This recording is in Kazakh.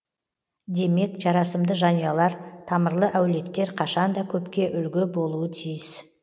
демек жарасымды жанұялар тамырлы әулеттер қашан да көпке үлгі болуы тиіс